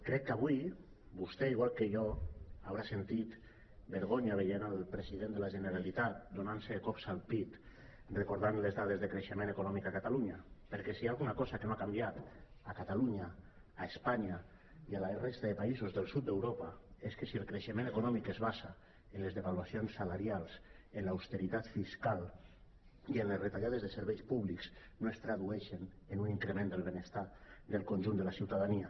crec que avui vostè igual que jo haurà sentit vergo·nya veient el president de la generalitat donant·se cops al pit recordant les dades de creixement econòmic a catalunya perquè si hi ha alguna cosa que no ha canviat a catalunya a espanya i a la resta de països del sud d’europa és que si el creixement econòmic es basa en les devaluacions salarials en l’austeritat fiscal i en les retalla·des de serveis públics no es tradueix en un increment del benestar del conjunt de la ciutadania